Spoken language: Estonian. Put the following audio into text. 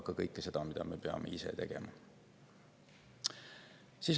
Kõike seda me peame ka ise tegema.